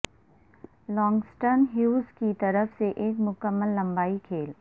Langston Hughes کی طرف سے ایک مکمل لمبائی کھیل